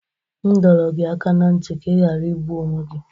M dọrọ gị aka ná ntị ka ị ghara igbu onwe gi!